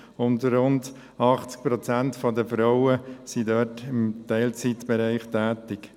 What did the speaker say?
Rund 80 Prozent dieser Frauen sind im Teilzeitbereich tätig.